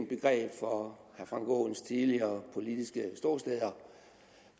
begreb for herre frank aaens tidligere politiske ståsteder